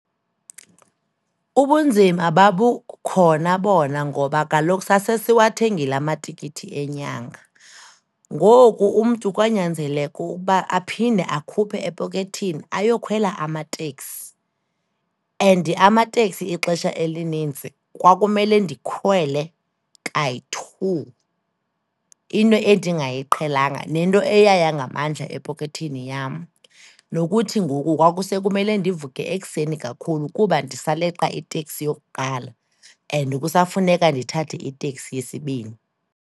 Ubunzima babukhona bona ngoba kaloku sasesiwathengile amatikiti enyanga. Ngoku umntu kwanyanzeleka ukuba aphinde akhuphe epokethini ayokhwela amateksi and amateksi ixesha elinintsi kwakumele ndikhwele kayi-two, into endingayiqhelanga, nento eyaya ngamandla epokethin yam. Nokuthi ngoku kwakusekumele ndivuke ekuseni kakhulu kuba ndisaleqa iteksi yokuqala and kusafuneka ndithathe iteksi yesibini.